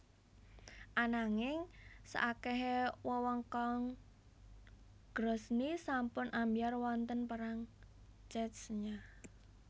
Ananging saakehe wewengkon Grozny sampun ambyar wonten Perang Chechnya